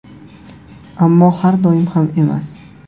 Ammo har doim ham emas.